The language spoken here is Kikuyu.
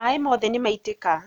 Maĩ mothe nĩmaitĩka